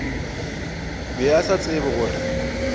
be a sa tsebe gore